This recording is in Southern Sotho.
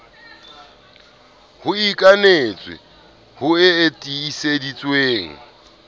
e ikanetswe ho e tiiseditswe